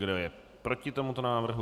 Kdo je proti tomuto návrhu?